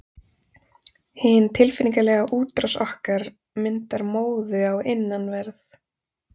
Hin tilfinningalega útrás okkar myndar móðu á innanverð